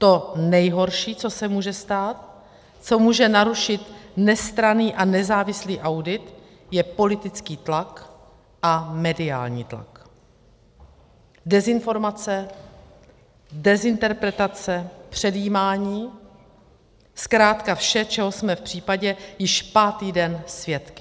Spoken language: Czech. To nejhorší, co se může stát, co může narušit nestranný a nezávislý audit, je politický tlak a mediální tlak, dezinformace, dezinterpretace, předjímání, zkrátka vše, čeho jsme v případě již pátý den svědky.